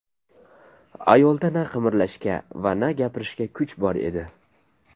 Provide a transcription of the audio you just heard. Ayolda na qimirlashga va na gapirishga kuch bor edi.